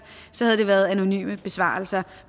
havde det været anonyme besvarelser